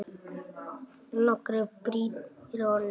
Nokkrar brýr eru á ánni.